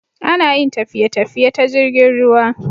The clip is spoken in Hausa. Anayin tafiye tafiye ta jirgin ruwa